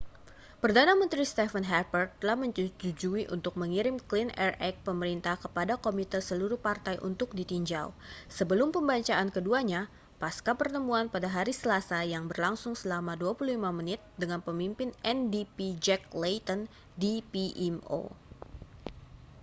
perdana menteri stephen harper telah menyetujui untuk mengirim clean air act' pemerintah kepada komite seluruh partai untuk ditinjau sebelum pembacaan keduanya pascapertemuan pada hari selasa yang berlangsung selama 25 menit dengan pemimpin ndp jack layton di pmo